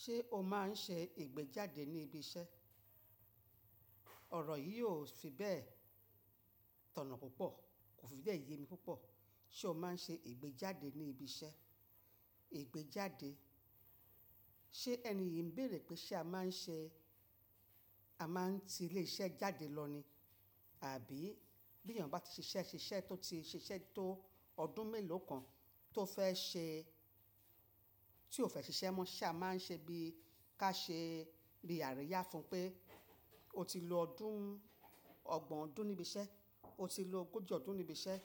Ṣé o máa ń ṣe ìgbéjáde ní ibi iṣẹ́? Ọ̀rọ̀ yìí ò fi bẹ́ẹ̀ tọ̀nà púpọ̀, kò fi bẹ́ẹ̀ yé mi púpọ̀. Ṣé o máa ń ṣe ìgbéjáde ní ibi iṣẹ́? Ìgbéjáde? Ṣé ẹni yìí ń bèèrè pé ṣé a máa ń ṣe? A máa ń ti ilé iṣẹ́ jáde lọ ní? Àbí bí èèyàn bá ti ṣiṣẹ́ ṣiṣẹ́ tó ti ṣiṣẹ́ tó ọdún mélòó kan, tí ó fẹ́ ṣiṣẹ́ mọ́, ṣé a máa ń ṣe bíi ká ṣe rí àríyá fún un pé, o ti lo ọdún, ọgbọ̀n ọdún níbi iṣẹ́, o ti lo ogójì ọdún níbi iṣẹ́,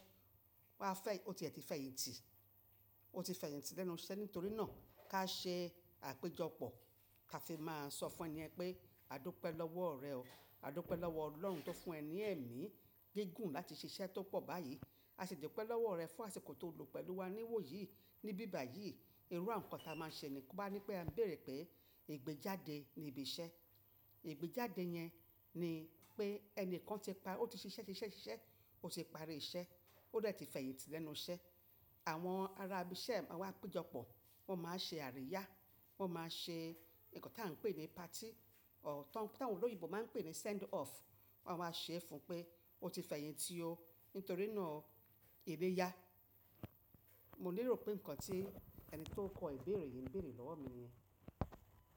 wá fẹ́-- o ti ẹ̀ ti fẹ̀yìntì, o ti fẹ̀yìntì lẹ́nu iṣẹ́. Nítorí náà ká ṣe àpéjọpọ̀, ká fi máa sọ fún ẹni ẹ pé a dúpẹ́ lọ́wọ́ rẹ o, a dúpẹ́ lọ́wọ́ Ọlọ́run tó fún ẹ ní ẹ̀mí gígùn láti ṣiṣẹ́ tó pọ̀ báyìí. A sì dúpẹ́ lọ́wọ́ rẹ fún àsìkò tóo lo pẹ̀lú wa níwòyí, níbíbàyìí. Irú àkokóò ta a máa ṣe nnkan báyi nípé a bèèrè pé ìgbéjáde nibi iṣẹ́. Ìgbéjáde yẹn ni pé ẹnìkan ti ṣiṣẹ́, ṣiṣẹ́, ṣiṣẹ́, ó ti parí iṣẹ́, ó dẹ̀ ti fẹ̀yìntì lẹ́nu iṣẹ́. Àwọn ará ibi iṣẹ́ máa wá péjọpọ̀, wọ́n máa ṣe àríyá, wọ́n máa ṣe nǹkan tí à ń pè ní party, tàwọn olóyinbo máa ń pè ní send off. Wọ́n a waa ṣe é fún un pé o ti fẹ̀yìn tì oo. Nítorí náà o ìlé yá. Mo leìró pé nǹkan tí ẹni tó ń kọ ìbéèrè yìí ń bèèrè lọ́wọ́ mi niyẹn.